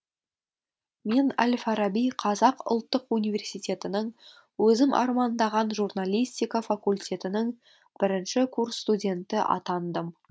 мен әл фараби қазақ ұлттық университетінің өзім армандаған журналистика факультетінің бірінші курс студенті атандым